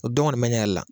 O dɔn kɔni bɛ ne yɛrɛ la